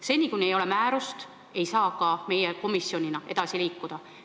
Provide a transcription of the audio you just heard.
Seni, kuni ei ole määrust, ei saa ka meie komisjonina edasi liikuda.